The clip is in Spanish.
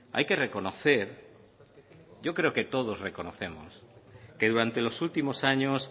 hay que reconocer yo creo que todos reconocemos que durante los últimos años